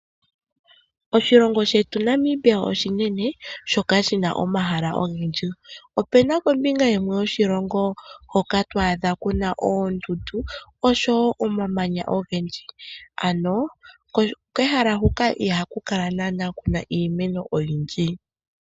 Oshilongo shetu Namibia oshinene shoka shi na omahala ogendji. Ope na pombinga yimwe yoshilongo hoka to adha ku na oondundu osho wo omamanya ogendji. Ano kehala huka ihaku kala naanaa ku na iimeno oyindji.